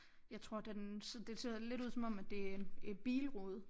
Jeg tror den det ser da lidt ud som om at det en et bilrude